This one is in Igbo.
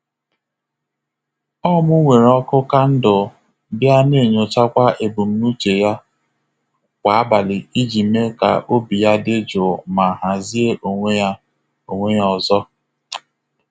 Ọ mụ nwere ọkụ kandụl, bịa na-enyochakwa ebumnuche ya kwa abalị iji mee ka obi ya dị jụụ ma hazie onwe ya onwe ya ọzọ.